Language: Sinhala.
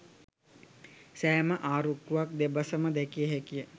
සෑම ආරුක්කුවක් දෙපස ම දැකගත හැකි ය.